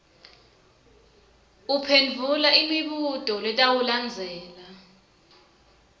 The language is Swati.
uphendvula imibuto letawulandzela